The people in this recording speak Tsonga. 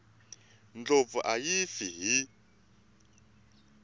ndlopfu a yi fi hi